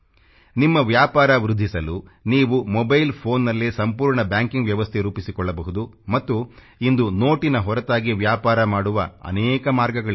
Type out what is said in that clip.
ನಿಮ್ಮ ವ್ಯಾಪಾರ ವೃದ್ಧಿಸಲು ನೀವು ಮೊಬೈಲ್ ಫೋನ್ ನಲ್ಲೇ ಸಂಪೂರ್ಣ ಬ್ಯಾಂಕಿಂಗ್ ವ್ಯವಸ್ಥೆ ರೂಪಿಸಿಕೊಳ್ಳಬಹುದು ಮತ್ತು ಇಂದು ನೋಟಿನ ಹೊರತಾಗಿ ವ್ಯಾಪಾರ ಮಾಡುವ ಅನೇಕ ಮಾರ್ಗಗಳಿವೆ